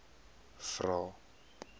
vvvvrae